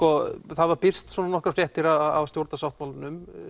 það hafa birst nokkrar fréttir af stjórnarsáttmálanum